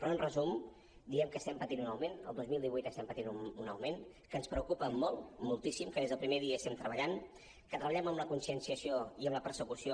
però en resum direm que estem patint un augment el dos mil divuit estem patint un augment que ens preocupa molt moltíssim que des del primer dia hi estem treballant que treballem en la conscienciació i en la persecució